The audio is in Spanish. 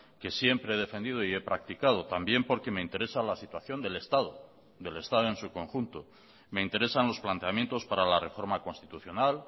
que siempre he defendido y he practicado también porque me interesa la situación del estado del estado en su conjunto me interesan los planteamientos para la reforma constitucional